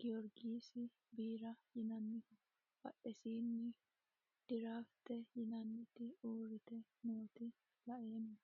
giyoriggisi biira yiinaniho badhesininno dirrafitte yinnanniti uuritte noota la'emma